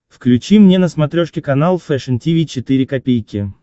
включи мне на смотрешке канал фэшн ти ви четыре ка